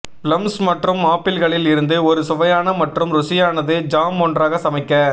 plums மற்றும் ஆப்பிள்களில் இருந்து ஒரு சுவையான மற்றும் ருசியானது ஜாம் ஒன்றாக சமைக்க